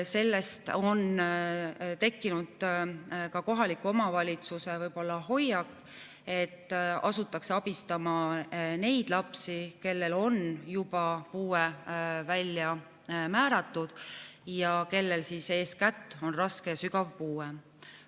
Sellest on tekkinud ka kohaliku omavalitsuse hoiak, et asutakse abistama neid lapsi, kellele on juba puue määratud ja kellel on eeskätt raske või sügav puue.